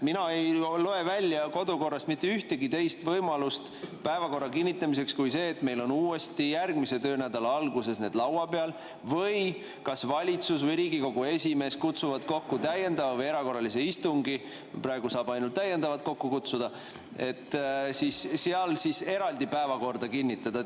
Mina ei loe välja kodukorrast mitte ühtegi teist võimalust päevakorra kinnitamiseks kui see, et meil on uuesti järgmise töönädala alguses see laua peal või kas valitsus või Riigikogu esimees kutsuvad kokku täiendava või erakorralise istungi – praegu saab ainult täiendavat kokku kutsuda –, et seal eraldi päevakord kinnitada.